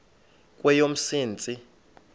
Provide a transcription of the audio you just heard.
kweyomsintsi